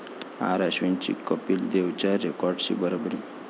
आर.अश्विनची कपिल देवच्या रेकॉर्डशी बरोबरी